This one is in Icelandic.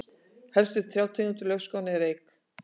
helstu trjátegundir laufskóganna eru eik